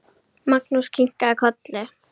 Magnús kinkaði kolli.